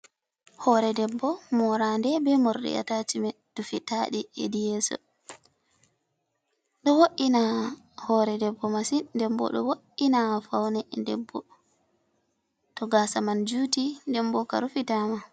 Hore debbo moraande ɓe morɗi a tashimen, dufitaaɗi hedi yeeso ɗo wo’ina hore debbo masin, nden ɓo ɗo wo’ina faune debbo to gasa man juti nden ɓo ka rufitaama.